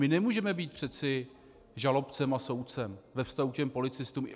My nemůžeme být přeci žalobcem a soudcem ve vztahu k těm policistům.